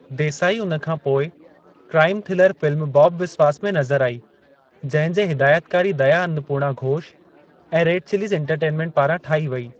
देसाई उन खां पोइ crime thriller film Babu Biswas में नज़र आई जंहिं जे हिदायतकारी दया अन्नपूर्णा घोष ऐं रेड चिलीज़ एन्टरटेन्मेंट पारां ठाही वेई।